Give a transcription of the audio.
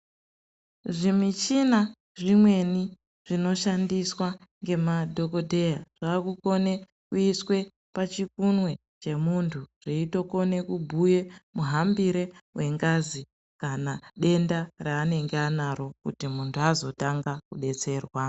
Zvimushina zvimweni zvinoshandiswa nemadhokodheya zvava kukone kuiswe pachikunwe chemuntu chinokone kubhuya muhambiro wengazi kana denda raanenge anaro kuti muntu anotanga kudetserwa.